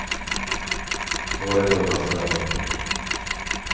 Det var det dummaste jag har hört.